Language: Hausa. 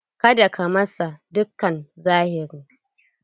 Ka da ka masa dukkan zahiri!